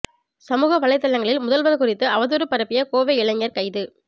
சமூக வலைதளங்களில் முதல்வா் குறித்து அவதூறு பரப்பிய கோவை இளைஞா் கைது